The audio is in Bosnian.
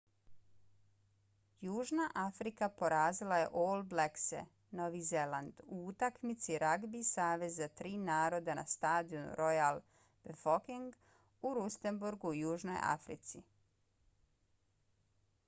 južna afrika porazila je all blackse novi zeland u utakmici ragbi saveza tri naroda na stadionu royal bafokeng u rustenburgu u južnoj africi